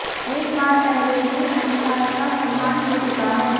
एक बार पहले भी अंसार का सम्मान हो चुका है